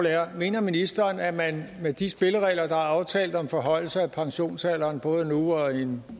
er mener ministeren at man med de spilleregler der er aftalt om forhøjelse af pensionsalderen både nu og i en